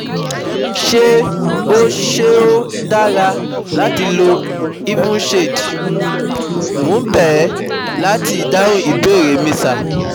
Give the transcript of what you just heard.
Ṣé ó Ṣé ó dára láti lo Evenshade? Mo ń bẹ̀ ẹ̀ láti dáhùn ìbéèrè mi sir